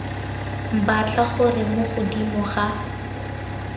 batla gore mo godimo ga